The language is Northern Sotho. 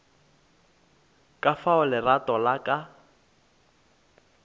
ka fao lerato la ka